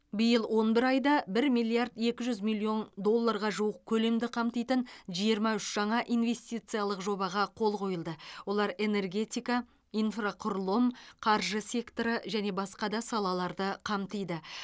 биыл он бір айда бір миллиард екі жүз миллион доллорға жуық көлемді қамтитын жиырма үш жаңа инвестициялық жобаға қол қойылды олар энергетика инфрақұрылым қаржы секторы және басқа да салаларды қамтиды